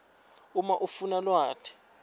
uma ufuna lwati